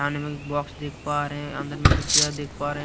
Box देख पा रहे हैं अंदर में कुछ चेयर देख पा रहे हैं।